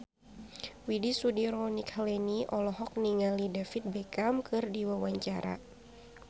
Widy Soediro Nichlany olohok ningali David Beckham keur diwawancara